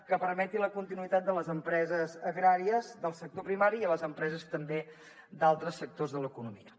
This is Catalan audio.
que permeti la continuïtat de les empreses agràries del sector primari les empreses també d’altres sectors de l’economia